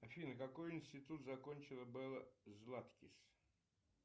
афина какой институт закончила белла златкис